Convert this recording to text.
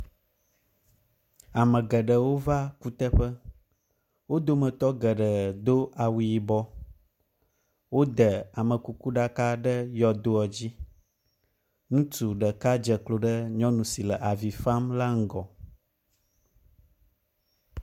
Ame geɖewo va kutɔƒe. Wo dometɔ geɖewo do awu yibɔ, wode amekukuɖaka ɖe yɔdoa dzi. Ŋutsu ɖeka dze klo ɖe nyɔnu si le avi fam la ŋgɔ.